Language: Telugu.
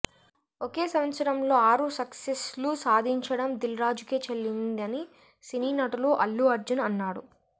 ఒకే సంవత్సరంలో ఆరు సక్సెస్లు సాధించడం దిల్ రాజుకే చెల్లిందని సినీనటుడు అల్లు అర్జున్ అన్నాడు